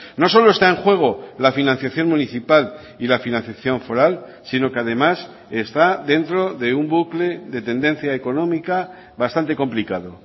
no solo está en juego la financiación municipal y la financiación foral sino que además está dentro de un bucle de tendencia económica bastante complicado